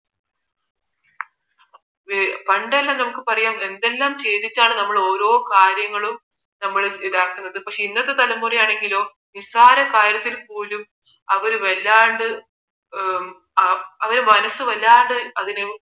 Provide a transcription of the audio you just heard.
പണ്ടൊക്കെ നമുക്ക് പറയാം എന്തൊക്കെ ചെയ്തിട്ടാണ് നമ്മൾ ഓരോ കാര്യങ്ങളും നമ്മൾ ഇതാക്കുന്നത് പക്ഷേ ഇന്നത്തെ തലമുറയോ നിസാര കാര്യത്തിന് പോലും അവർ വല്ലാണ്ട് അവരെ മനസ്സ് വല്ലാതെ അതിനെ